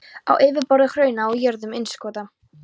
á yfirborði hrauna og á jöðrum innskota.